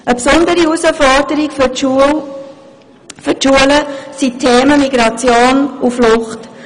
Eine besondere Herausforderung für die Schulen sind die Themen Migration und Flucht.